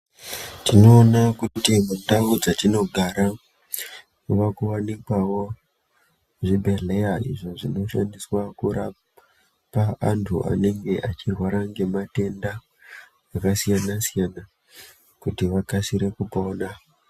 Tinoona kuti mundau dzatinogara mwaaku wanikwawo zvibhedhlera, izvo zvinoshandiswa kurapa antu anenge achirwara ngematenda akasiyana-siyana, kuti vakasire kupona.